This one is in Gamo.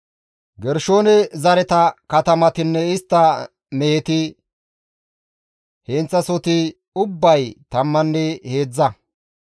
Gershoone zareta katamatinne istta meheta heenththasohoti ubbay tammanne heedzdza.